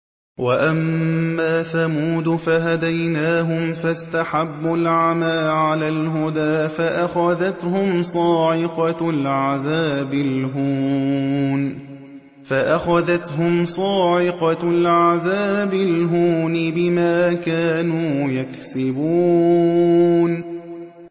وَأَمَّا ثَمُودُ فَهَدَيْنَاهُمْ فَاسْتَحَبُّوا الْعَمَىٰ عَلَى الْهُدَىٰ فَأَخَذَتْهُمْ صَاعِقَةُ الْعَذَابِ الْهُونِ بِمَا كَانُوا يَكْسِبُونَ